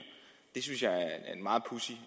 det synes jeg er en meget pudsig